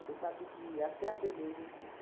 Você sabe que até a beleza implica.